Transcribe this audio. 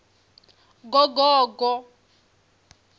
gogogo